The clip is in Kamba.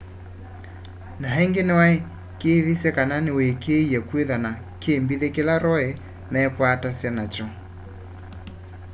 na ingi niwaikiithisye kana niwikiie kwithwa na kimbithi kila roe meekwatasya nakyo